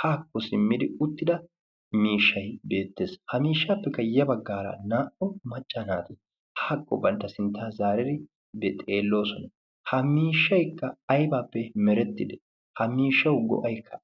haakko simmidi uttida miishshai beettees. ha miishshaappekkayya baggaara naa'u macca naati haakko bantta sintta zaarari bexeelloosona. ha miishshaikka aybaappe merettidi ha miishshau go'ay aybee?